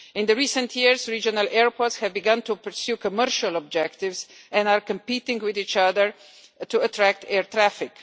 In recent years, regional airports have begun to pursue commercial objectives and are competing with each other to attract air traffic.